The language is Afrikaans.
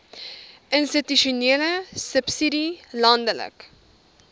institusionele subsidie landelike